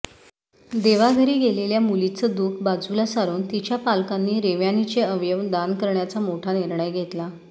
देवाघरी गेलेल्या मुलीचं दुःख बाजूला सारून तिच्या पालकांनी रेव्यानीचे अवयव दान करण्याचा मोठा निर्णय घेतला